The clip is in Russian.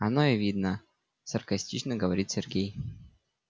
оно и видно саркастично говорит сергей